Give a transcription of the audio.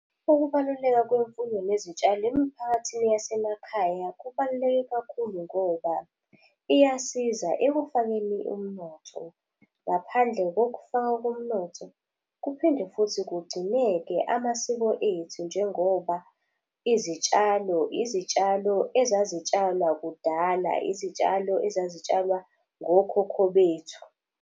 Ukubaluleka kwemfuyo nezitshalo emphakathini yasemakhaya kubaluleke kakhulu ngoba iyasiza ekufakeni umnotho. Ngaphandle kokufakwa komnotho, kuphinde futhi kugcineke amasiko ethu njengoba izitshalo, izitshalo ezazitshalwa kudala, izitshalo ezazitshalwa ngokhokho bethu.